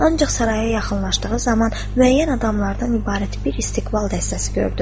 Ancaq saraya yaxınlaşdığı zaman müəyyən adamlardan ibarət bir istiqlal dəstəsi gördü.